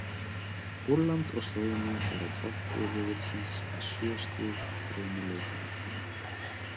Pólland og Slóvenía eru á toppi riðilsins með sjö stig úr þremur leikjum.